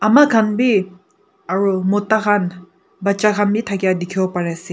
ama khan bi aro mota khan bacha khan bi thakia dikhi pai ase.